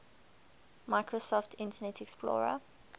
microsoft internet explorer